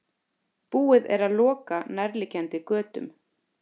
Búið er að loka nærliggjandi götum